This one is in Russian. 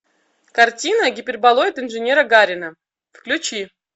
картина гиперболоид инженера гарина включи